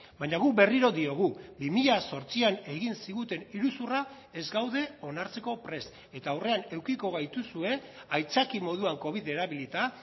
baina guk berriro diogu bi mila zortzian egin ziguten iruzurra ez gaude onartzeko prest eta aurrean edukiko gaituzue aitzakia moduan covid erabilita